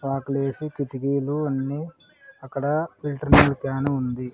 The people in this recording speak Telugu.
వాకిలి ఏసీ కిటికీలు అన్ని అక్కడ ఫిల్టర్ నీళ్ల క్యాన్ ఉంది.